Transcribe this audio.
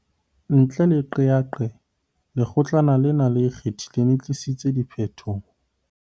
Ntle le qeaqeo, Lekgotlana lena le Ikgethileng le tlisitse diphetoho.